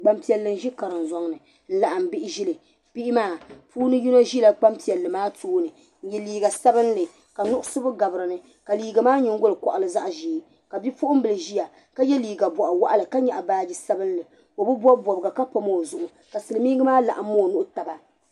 Gban piɛli n zi karim. zɔŋni. n laɣim bihi zili. bihi maa. puuni. yino.zi la. gban piɛli. maa. tooni, n ye. liiga. sabinli ka nuɣisigu. gabi dini. ka liiga maa, nyingoli. koɣili. zaɣ' zee ka bipuɣinbili ziya. ka ye liiga. bɔɣi waɣila ka nyaɣi. baaji. sabinli. ɔ bi bɔbi bɔbiga, ka pam ɔzuɣu. ka silimiingi maa. laɣim. ɔnuhi taba.